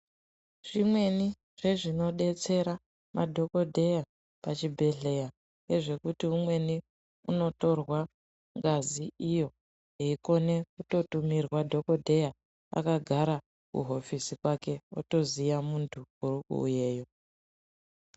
Zvimweni zvezvinodetsera madhokodheya pachibhedhlera ndezve kuti umweni anotorwa ngazi iyo eikona kutumirwa dhokodheya akagara kuhofisi kwake otoziya muntu uri kuuyayo.